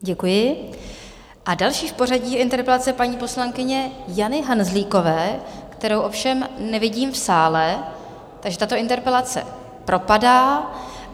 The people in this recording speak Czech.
Děkuji a další v pořadí interpelace paní poslankyně Jany Hanzlíkové, kterou ovšem nevidím v sále, takže tato interpelace propadá.